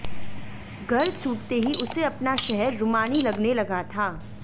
घर छूटते ही उसे अपना शहर रूमानी लगने लगा था